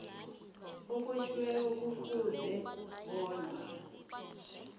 obotjhiweko kufuze bona